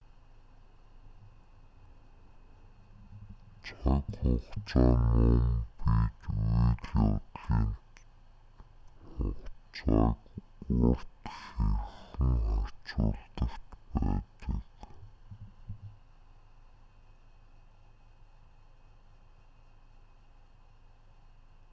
цаг хугацаа нь мөн бид үйл явдлын хугацааг урт хэрхэн харьцуулдагт байдаг